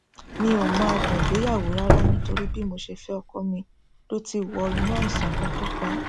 mi ò mọ adùn ìgbéyàwó rárá nítorí bí mo ṣe fẹ ọkọ mi ló ti wọ inú àìsàn tó pàá